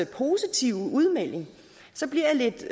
positive udmelding bliver lidt